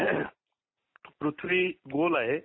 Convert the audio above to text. पृथ्वी गोल आहे.